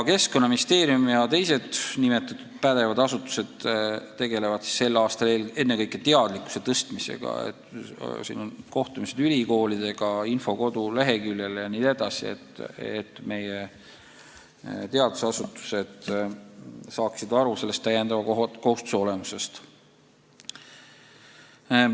Keskkonnaministeerium ja teised nimetatud pädevad asutused tegelevad tänavu ennekõike teadlikkuse tõstmisega – on kohtumised ülikoolidega, info koduleheküljel jne –, et meie teadusasutused saaksid selle täiendava kohustuse olemusest aru.